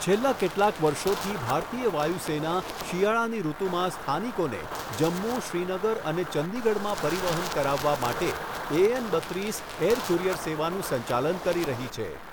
છેલ્લા કેટલાક વર્ષોથી, ભારતીય વાયુસેના શિયાળાની ઋતુમાં સ્થાનિકોને જમ્મુ, શ્રીનગર અને ચંદીગઢમાં પરિવહન કરાવવા માટે એએન બત્રિસ એર કુરિયર સેવાનું સંચાલન કરી રહી છે.